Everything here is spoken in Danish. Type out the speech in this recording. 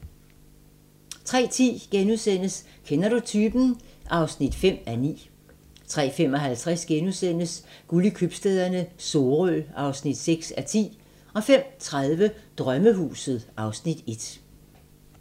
03:10: Kender du typen? (5:9)* 03:55: Guld i købstæderne - Sorø (6:10)* 05:30: Drømmehuset (Afs. 1)